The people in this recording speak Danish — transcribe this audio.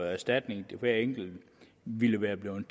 erstatning hver enkelt ville være blevet